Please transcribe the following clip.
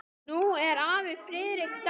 Nú er afi Friðrik dáinn.